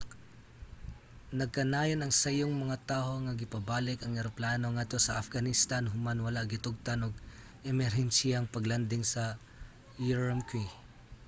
nagkanayon ang sayong mga taho nga gipabalik ang eroplano ngadto sa afghanistan human wala gitugtan og emerhensiyang pag-landing sa ürümqi